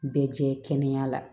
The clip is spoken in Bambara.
Bɛɛ cɛ kɛnɛya la